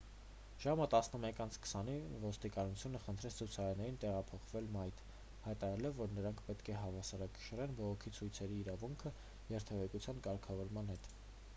ժամը 11:20-ին ոստիկանությունը խնդրեց ցուցարարներին տեղափոխվել մայթ՝ հայտարարելով որ նրանք պետք է հավասարակշռեն բողոքի ցույցերի իրավունքը երթևեկության կարգավորման հետ: